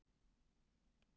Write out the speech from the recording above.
Hann lifir líka í Ástralíu.